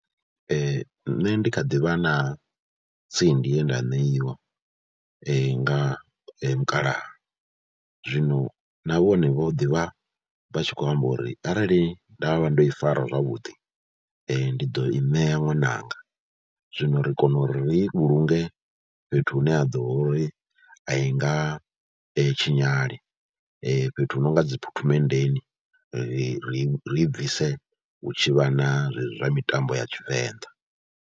Nṋe ndi kha ḓi vha na tsindi ye nda ṋeiwa nga mukalaha, zwino na vhone vho ḓi vha vha tshi khou amba uri arali nda vha ndo i fara zwavhuḓi, ndi ḓo i ṋea ṅwananga, zwino ri kone uri ri vhulunge fhethu hune ha ḓo vha uri a i nga tshinyali, fhethu hu no nga dzi phuthumenndeni ri ri ri bvise hu tshi vha na zwezwi zwa mitambo ya Tshivenḓa.